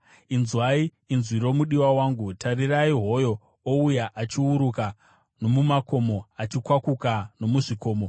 Inzwai! Inzwi romudiwa wangu! Tarirai! Hoyo ouya achiuruka nomumakomo, achikwakuka nomuzvikomo.